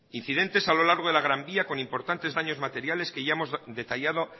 incidentes a lo largo de la gran vía con importantes daños materiales que ya hemos detallado